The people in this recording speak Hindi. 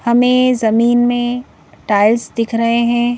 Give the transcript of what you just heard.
हमें जमीन में टाइल्स दिख रहे हैं।